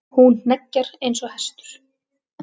Hún hneggjar eins og hestur.